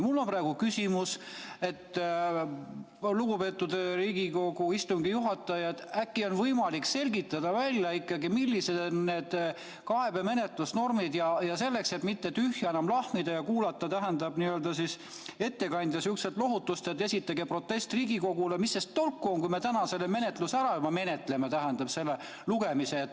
Mul on küsimus, lugupeetud Riigikogu istungi juhataja, et äkki on võimalik välja selgitada, millised on need kaebemenetlusnormid, et mitte enam tühja lahmida ja kuulata sihukest ettekandja lohutust, et esitage protest Riigikogule – mis sellest tolku on, kui me täna selle eelnõu ära menetleme?